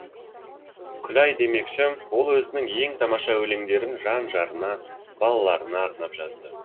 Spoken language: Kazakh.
күләй демекші ол өзінің ең тамаша өлеңдерін жан жарына балаларына арнап жазды